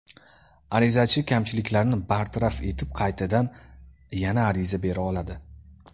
Arizachi kamchiliklarni bartaraf etib qaytadan yana ariza bera oladi.